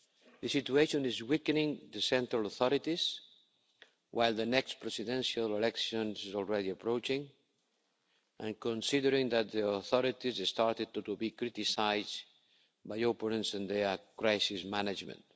The situation is weakening the central authorities while the next presidential election is already approaching and considering that the authorities have started to be criticised by the opponents for their crisis management.